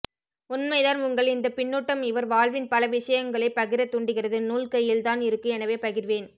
உண்மைதான் உங்கள் இந்த பின்னூட்டம் இவர் வாழ்வின் பல விஷயங்களை பகிர தூண்டுகிறது நூல் கையில்தான் இருக்கு எனவே பகிர்வேன்